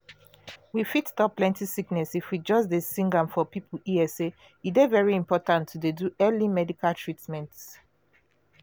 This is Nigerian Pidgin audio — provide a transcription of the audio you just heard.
we fit stop plenty sickness if we just dey sing am for people ear say e dey very important to dey do early medical treatment.